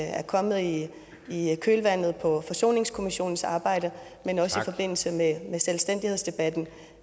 er kommet i kølvandet på forsoningskommissionens arbejde men også i forbindelse med selvstændighedsdebatten